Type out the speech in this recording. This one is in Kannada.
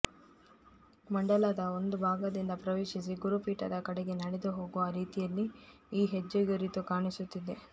ಮಂಡಲದ ಒಂದು ಭಾಗದಿಂದ ಪ್ರವೇಶಿಸಿ ಗುರುಪೀಠದ ಕಡೆಗೆ ನಡೆದು ಹೋಗುವ ರೀತಿಯಲ್ಲಿ ಈ ಹೆಜ್ಜೆಗುರುತು ಕಾಣಿಸುತ್ತಿದೆ